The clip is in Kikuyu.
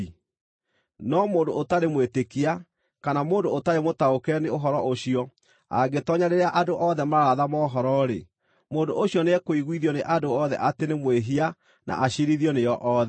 No mũndũ ũtarĩ mwĩtĩkia kana mũndũ ũtarĩ mũtaũkĩre nĩ ũhoro ũcio angĩtoonya rĩrĩa andũ othe mararatha mohoro-rĩ, mũndũ ũcio nĩekũiguithio nĩ andũ othe atĩ nĩ mwĩhia na aciirithio nĩo othe,